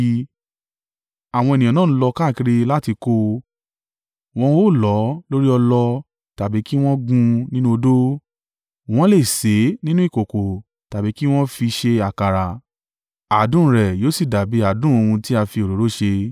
Àwọn ènìyàn náà ń lọ káàkiri láti kó o, wọn ó lọ̀ ọ́ lórí ọlọ tàbí kí wọ́n gún un nínú odó. Wọ́n le sè é nínú ìkòkò tàbí kí wọn ó fi ṣe àkàrà, adùn rẹ̀ yóò sì dàbí adùn ohun tí a fi òróró ṣe.